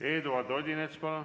Eduard Odinets, palun!